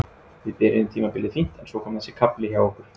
Við byrjuðum tímabilið fínt en svo kom þessi kafli hjá okkur.